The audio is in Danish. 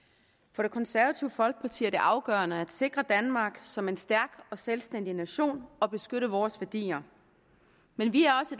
for det konservative folkeparti er det afgørende at sikre danmark som en stærk og selvstændig nation og at beskytte vores værdier men vi er også